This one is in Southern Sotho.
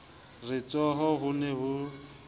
re tsho ho ne ho